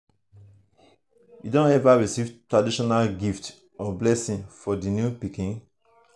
you don ever receive traditional gifts or blessings for di new baby?